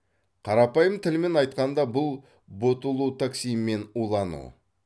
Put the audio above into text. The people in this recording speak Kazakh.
қарапайым тілмен айтқанда бұл ботулотоксинмен улану